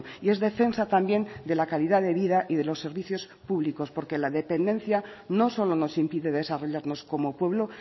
y es defensa también de la calidad de vida y de los servicios públicos porque la dependencia no solo nos impide desarrollarnos como pueblo